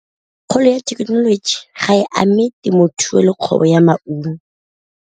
Kgolo ya thekenoloji ga e ame temothuo le kgwebo ya maungo.